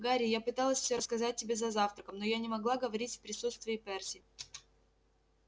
гарри я пыталась всё рассказать тебе за завтраком но я не могла говорить в присутствии перси